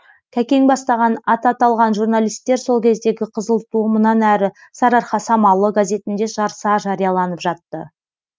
кәкең бастаған аты аталған журналистер сол кездегі қызыл ту мұнан әрі сарыарқа самалы газетінде жарыса жарияланып жатты